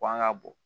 Kɔn ka bon